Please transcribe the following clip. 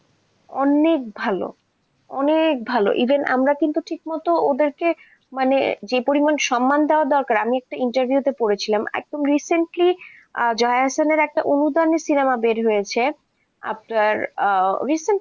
অনেক ভালো, অনেক ভালো, even আমরা কিন্তু ঠিক মতো ওদেরকে যে পরিমাণে সম্মান দেয়া দরকার, মানে আমি একটা ইন্টারভিউতে পড়েছিলাম একদম recently জয়া হোসেনের একটা অনুগামী সিনেমা বের হয়েছে আপনার recently,